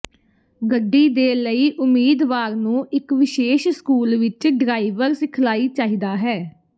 ਗੱਡੀ ਦੇ ਲਈ ਉਮੀਦਵਾਰ ਨੂੰ ਇੱਕ ਵਿਸ਼ੇਸ਼ ਸਕੂਲ ਵਿਚ ਡਰਾਈਵਰ ਸਿਖਲਾਈ ਚਾਹੀਦਾ ਹੈ